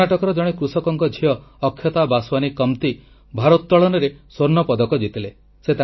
କର୍ଣ୍ଣାଟକର ଜଣେ କୃଷକଙ୍କ ଝିଅ ଅକ୍ଷତା ବାସୱାନୀ କମ୍ତି ଭାରୋତ୍ତୋଳନରେ ସ୍ୱର୍ଣ୍ଣ ପଦକ ଜିତିଲେ